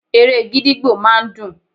Eré gídígbò máa ń dùn.